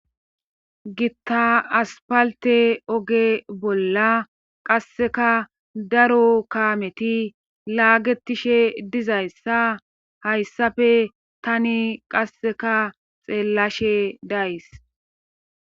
Gitta aspalte oge bolla qasseka daro kaameti laagetishe dizayssa hayssafe tani qasseka xeellashe days.